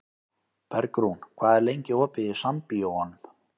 Bergrún, hvað er lengi opið í Sambíóunum?